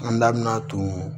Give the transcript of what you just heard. An da bina ton